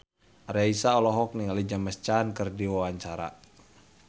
Raisa olohok ningali James Caan keur diwawancara